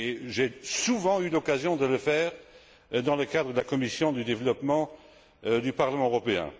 J'ai souvent eu l'occasion de le faire dans le cadre de la commission du développement du Parlement européen.